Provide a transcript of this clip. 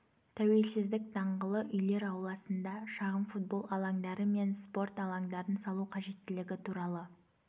тәуелсіздік даңғылы үйлер ауласында шағын футбол алаңдары мен спорт алаңдарын салу қажеттілігі туралы